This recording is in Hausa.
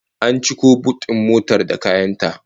An ciko but din motar da kayan ta